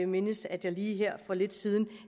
mindes at jeg lige her for lidt siden